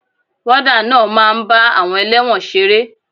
Wọ́dà náà máa ń bá àwọn elẹ́wọ̀n ṣeré.